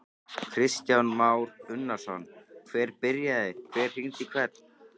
Kristján Már Unnarsson: Hver byrjaði, hver hringdi í hvern?